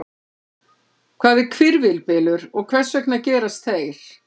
Hvað er hvirfilbylur og hvers vegna gerast þeir?